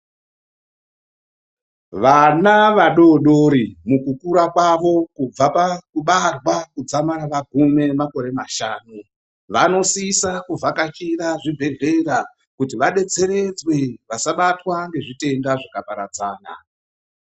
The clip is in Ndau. Vana vadodori mukukura kwavo kubva pakubarwa kudzamara vagume makore mashanu vanosisa kuvhakachire zvibhedhlera kuti vadetseredzwe vasabatwa nezvitenda zvakaparadzana.